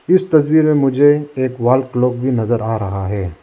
इस तस्वीर में मुझे एक वॉल क्लॉक भी नजर आ रहा है।